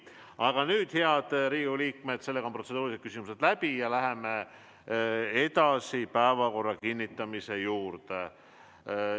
Aga nüüd, head Riigikogu liikmed, on protseduurilised küsimused läbi ja me läheme edasi päevakorra kinnitamise juurde.